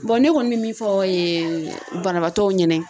ne kɔni bɛ min fɔ ee banabaatɔw ɲɛna.